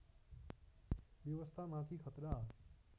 व्यवस्था माथि खतरा